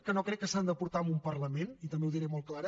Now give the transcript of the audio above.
que no crec que s’han de portar a un parlament i també ho diré molt clara